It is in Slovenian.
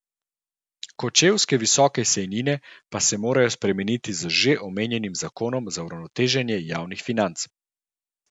Kočevske visoke sejnine pa se morajo spremeniti z že omenjenim zakonom za uravnoteženje javnih financ.